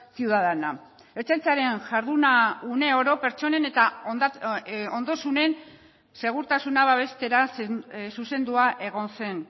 ciudadana ertzaintzaren jarduna une oro pertsonen eta ondasunen segurtasuna babestera zuzendua egon zen